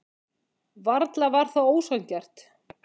Varla var það ósanngjarnt.